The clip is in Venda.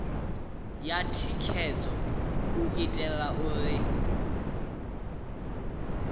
ya thikhedzo u itela uri